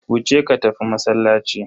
Wuce ka tafi masallaci.